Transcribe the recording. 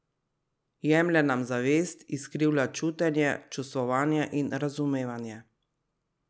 Jemlje nam zavest, izkrivlja čutenje, čustvovanje in razumevanje.